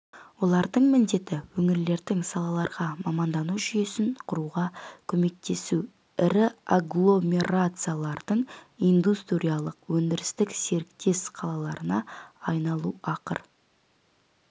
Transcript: олардың міндеті өңірлердің салаларға мамандану жүйесін құруға көмектесу ірі агломерациялардың индустриялық-өндірістік серіктес қалаларына айналу ақыр